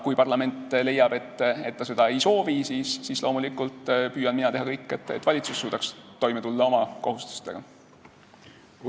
Kui parlament leiab, et ta seda ei soovi, siis loomulikult püüan mina teha kõik, et valitsus suudaks oma kohustustega toime tulla.